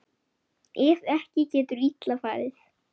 Ef ekki getur illa farið.